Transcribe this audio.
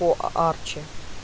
по арчи